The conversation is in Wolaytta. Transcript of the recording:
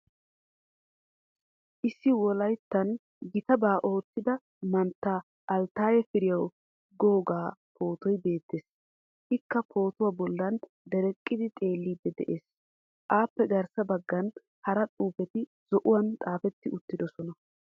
Issi Wolayttan gittaba oottida manttan Altaye Firiyaa googaa pootoy beettees. ika pootuwaa bollan dereqqidi xeelliidi dees. apoe garssa baggan hara xuufeti zo"uwan xaafeti uttidosona.